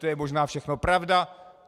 To je možná všechno pravda.